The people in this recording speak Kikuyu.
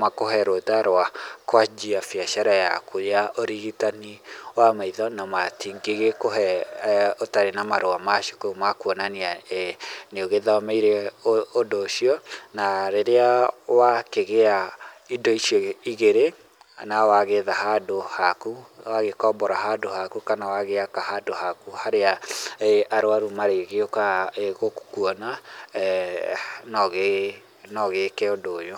makũhe rũtha rwa kwanjia biacara yaku ya ũrigitani wa maitho na matingĩ gĩkũhe ũtarĩ na marũa ma cukuru ma kwonania eeh nĩ ũgĩthomeire ũndũ ũcio na rĩrĩa wakĩgĩa indo icio igĩrĩ na gĩetha handũ haku, wagĩkombora handũ haku kana wagĩaka handũ haku harĩa eeh arwaru magĩgĩũkaga ehh gũkwona eeh noũgĩ noũgĩke ũndũ ũyũ.